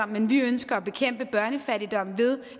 men vi ønsker at bekæmpe børnefattigdom ved